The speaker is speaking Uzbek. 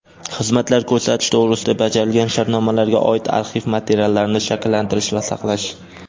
xizmatlar ko‘rsatish to‘g‘risida bajarilgan shartnomalarga oid arxiv materiallarini shakllantirish va saqlash;.